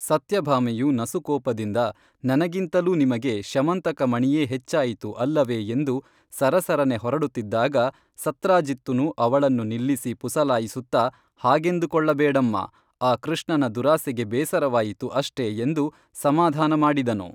ಸತ್ಯಭಾಮೆಯು ನಸುಕೋಪದಿಂದ ನನಗಿಂತಲೂ ನಿಮಗೆ ಶ್ಯಮಂತಕ ಮಣಿಯೇ ಹೆಚ್ಚಾಯಿತು ಅಲ್ಲವೇ ಎಂದು ಸರಸರನೆ ಹೊರಡುತ್ತಿದ್ದಾಗ ಸತ್ರಾಜಿತ್ತುನು ಅವಳನ್ನು ನಿಲ್ಲಿಸಿ ಪುಸಲಾಯಿಸುತ್ತಾ ಹಾಗೆಂದು ಕೊಳ್ಳ ಬೇಡಮ್ಮಾ ಆ ಕೃಷ್ಣನ ದುರಾಸೆಗೆ ಬೇಸರವಾಯಿತು ಅಷ್ಟೆ ಎಂದು ಸಮಾಧಾನಮಾಡಿದನು